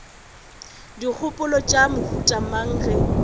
dikgopolo tša mohuta mang ge